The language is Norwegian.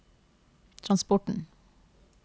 transporten